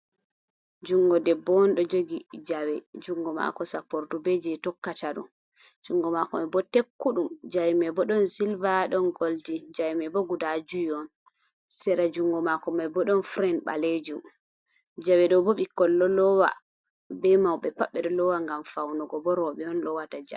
Junngo debbo on ɗo jogi jawe, junngo maako sappordu, be jey tokkata ndu, junngo maako may bo tekkuɗum jawe may bo ɗon silva ɗon goldin, jawe may bo guda jowi on, seera junngo maako may bo ɗon feere ɓaleejum. Jawe ɗo bo ɓikkoy ɗo lowa be mawɓe pat ɓe ɗo loowa ngam fawnugo bo rooɓe on loowata jawe.